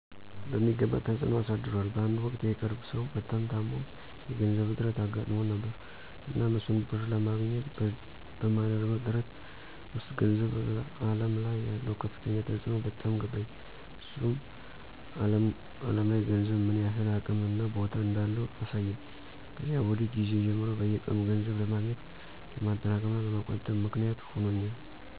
በሚገባ ተፅዕኖ አሳድሯል በአንድ ወቅት የቅርብ ሰው በጣም ታሞ የገንዘብ እጥረት አጋጥሞን ነበር። እናም እሱን ብር ለማግኘት በማደርገው ጥረት ውስጥ ገንዘብ አለም ላይ ያለው ከፍተኛ ተፅዕኖ በጣም ገባኝ። እሱም አለም ላይ ገንዘብ ምን ያህል አቅም እና ቦታ እንዳለው አሳየኝ። ከዚያ ወዲህ ጊዜ ጀምሮ በየቀኑ ገንዘብ ለማግኘት፣ ለማጠራቀም፣ እና ለመቆጠብ ምክንያት ሆኖኛል።